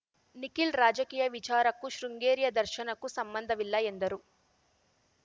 ನಿಖಿಲ್ ರಾಜಕೀಯ ವಿಚಾರಕ್ಕೂ ಶೃಂಗೇರಿಯ ದರ್ಶನಕ್ಕೂ ಸಂಬಂಧವಿಲ್ಲ ಎಂದರು